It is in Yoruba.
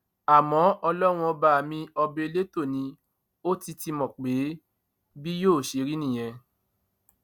àmọ ọlọrun ọba mi ọba elétò ni ó ti ti mọ pé bí yóò ṣe rí nìyẹn